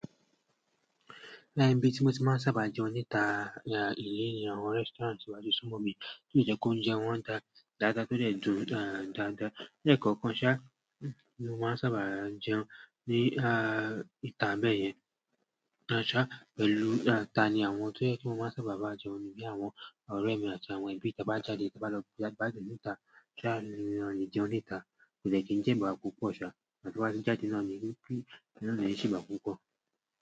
Láì tí mo ti máa sábà jẹun níta ilé ni àwọn restaurant ti wá di súmọ̀mí tí ó yẹ kó ń jẹ wọ́n dáadáa tódẹ̀ dùn dáadáa. Ǹjẹ́ kànkan ṣá, mo máa ń sábà jẹun ní ìta bẹ́ẹ̀ yẹn ṣá pẹ̀lú ta ni àwọn tó yẹ kó máa ń sábà bá jẹun ni bí àwọn ọ̀rẹ́ mi àti àwọn ẹbí tí bá jáde bá lọ bá jẹ níta ṣá ni wọ́n yẹn jẹun níta kò dẹ́ẹ̀ tí ń jẹ ìbà púpọ̀ ṣá àtún wá sí jáde náà ni kí ìná ìṣe wà púpọ̀